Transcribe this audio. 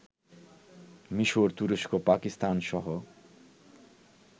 মিশর, তুরস্ক, পাকিস্তানসহ